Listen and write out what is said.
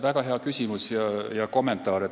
Väga hea küsimus ja kommentaar.